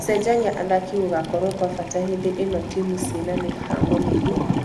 Gũcenjania athaki gũgakorwokwabata hĩndĩ ĩno timũ cina mĩhango mĩingĩ.